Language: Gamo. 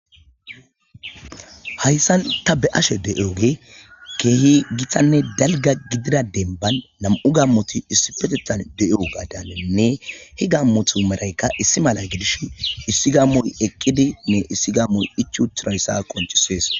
Hayssan ta beashe de7oge keehi githanne dalga gidida denban nam7u gammoti issi petettan de7o gaadanenne hi gammotu maraykka issi mala gidish issi gammoy eqqidi nne issi gammoy ichutirayssa qonchisees.